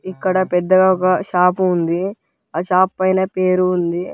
ఇక్కడ పెద్ద షాప్ ఉంది. ఆ షాప్ పైన పేరు ఉంది.